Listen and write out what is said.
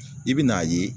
I bɛ n'a ye